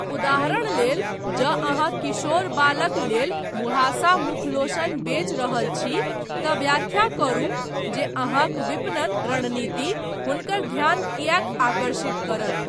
उदाहरण लेल जँ अहाँ किशोर बालक लेल मुहाँसा मुखलोशन बेच रहल छी तँ व्याख्या करू जे अहाँक विपणन रणनीति हुनकर ध्यान किएक आकर्षित करत।